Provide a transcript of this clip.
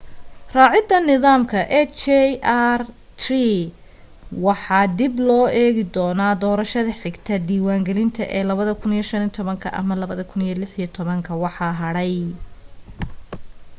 raacida nidaamka hjr-3 waxaa dib loo eegi doona doorashada xigta diiwan gelinta ee 2015 ama 2016 waxa hadhay